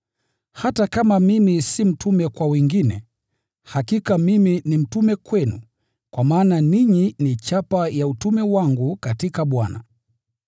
Hata kama mimi si mtume kwa wengine, hakika mimi ni mtume kwenu, kwa maana ninyi ni mhuri wa utume wangu katika Bwana.